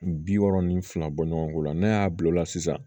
Bi wɔɔrɔ ni fila bɔ ɲɔgɔn ko la n'a y'a bil'o la sisan